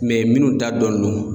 minnu da dɔnnen do.